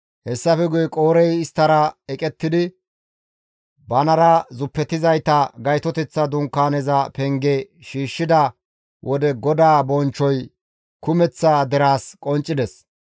Hessafe guye Qoorey isttara eqettidi banara zuppetizayta Gaytoteththa Dunkaaneza penge shiishshida wode GODAA bonchchoy kumeththa deraas qonccides.